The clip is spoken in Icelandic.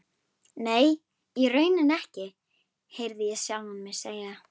Nei, í rauninni ekki, heyrði ég sjálfan mig segja.